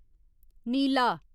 नीला